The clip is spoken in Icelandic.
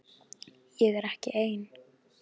Ég er ekki ein.